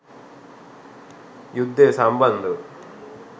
යුද්ධය සම්බන්ධව